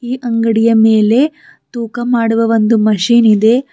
ಆ ಅಂಗಡಿಯ ಮೇಲೆ ತುಕ ಮಾಡುವ ಒಂದು ಮಷೀನ್ ಇದೆ.